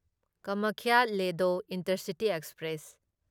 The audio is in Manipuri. Kamakhya Ledo intercity express